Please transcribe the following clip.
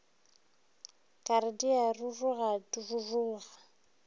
ka re di a rurugaruruga